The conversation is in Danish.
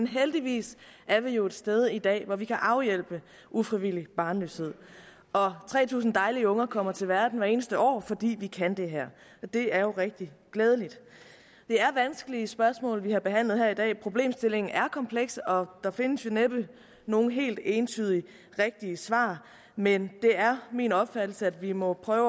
heldigvis er vi jo et sted i dag hvor vi kan afhjælpe ufrivillig barnløshed tre tusind dejlige unger kommer til verden hvert eneste år fordi vi kan det her og det er jo rigtig glædeligt det er vanskelige spørgsmål vi har behandlet her i dag problemstillingen er kompleks og der findes jo næppe nogen helt entydige og rigtige svar men det er min opfattelse at vi må prøve